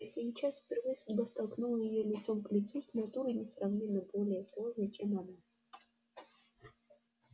а сейчас впервые судьба столкнула её лицом к лицу с натурой несравненно более сложной чем она